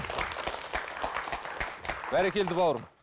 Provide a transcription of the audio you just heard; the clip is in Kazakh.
бәрекелді бауырым